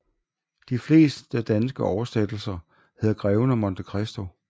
De fleste danske oversættelser hedder Greven af Monte Christo